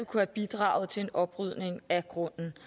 kunne bidrage til oprydning af grunden